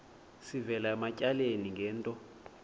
sivela ematyaleni ngento